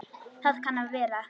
Það kann að vera